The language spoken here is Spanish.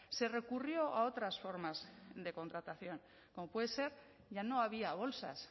se recurrió a otras formas de contratación como puede ser ya no había bolsas